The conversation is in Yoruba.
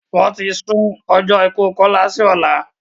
Wọ́n ti sún ọjọ́ ikú Kọ́lá si ọ̀lá